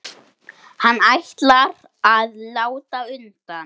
Hann ætlar að láta undan.